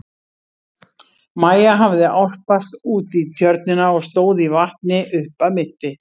Maja hafði álpast út í tjörnina og stóð í vatni upp að mitti.